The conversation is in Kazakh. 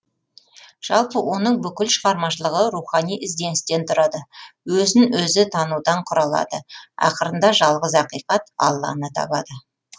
жалпы оның бүкіл шығармашылығы рухани ізденістен тұрады өзін өзі танудан құралады ақырында жалғыз ақиқат алланы табады